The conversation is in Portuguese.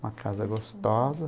Uma casa gostosa.